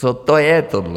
Co to je, tohle?